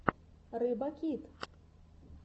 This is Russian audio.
рыбакит